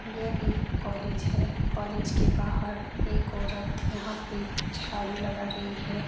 यह एक कॉलेज है। कॉलेज के बाहर एक औरत यहाँ पे झाड़ू लगा रही है।